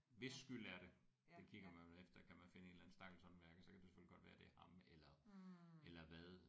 Hvis skyld er det det kigger man vel efter kan man finde en eller anden stakkels håndværker så kan det jo selvfølgelig godt være det er ham eller eller hvad